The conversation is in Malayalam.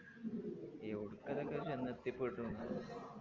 എവിടുക്ക ഇതൊക്കെ ചെന്നെത്തിപ്പെടും